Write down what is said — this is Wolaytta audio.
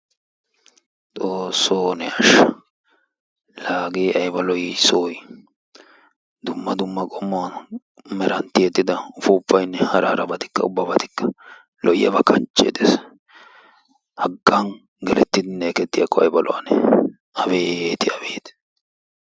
xoosoo ne ashsha hagee aybba lo'ii? soy dumma dumma qommo meran tiyettida upuupaynne hara harabatikka lo'iyaba kanchee dees, hagan gelettidinne ekkettiyakko aybba lo'anee abeeti abeet!